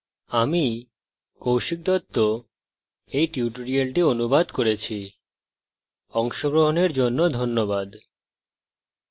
আমি কৌশিক দত্ত এই টিউটোরিয়ালটি অনুবাদ করেছি অংশগ্রহনের জন্য ধন্যবাদ